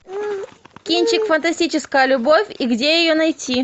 кинчик фантастическая любовь и где ее найти